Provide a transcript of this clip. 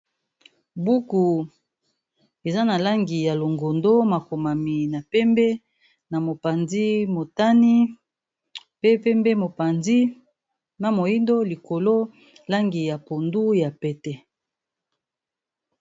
Buku eza na langi ya longondo makomami na pembe na mopanzi motani pe pembe mopanzi na moyindo likolo langi ya pondu ya pete.